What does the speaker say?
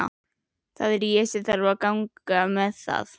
Það er ég sem þarf að ganga með það.